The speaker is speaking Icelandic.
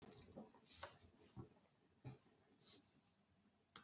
Nei, forboðnir ávextir á borð við appelsínur, epli og banana.